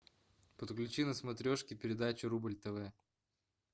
подключи на смотрешке передачу рубль тв